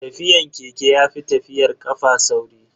Tafiyan keke yafi tafiyar kafa sauri.